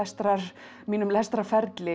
mínum